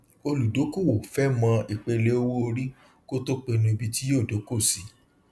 olùdókòwò fẹ mọ ìpele owóorí kó tó pinnu ibi tí yóó dókò sí